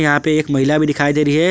यहां पे एक महिला भी दिखाई दे रही हैं।